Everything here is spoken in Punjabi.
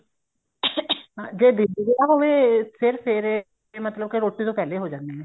ing ਜੇ ਦਿਨ ਚ ਵਿਆਹ ਹੋਵੇ ਫ਼ੇਰ ਫੇਰੇ ਮਤਲਬ ਕੇ ਰੋਟੀ ਤੋਂ ਪਹਿਲੇ ਹੋ ਜਾਂਦੇ ਨੇ